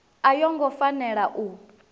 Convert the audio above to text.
a yo ngo fanela u